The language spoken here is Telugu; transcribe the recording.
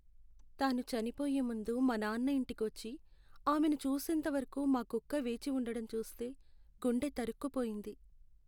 తాను చనిపోయే ముందు మా నాన్న ఇంటికి వచ్చి ఆమెను చూసేంతవరకు మా కుక్క వేచి ఉండటం చూస్తే గుండె తరుక్కుపోయింది.